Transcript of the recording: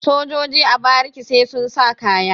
sojoji a bariki sai sun sa kaya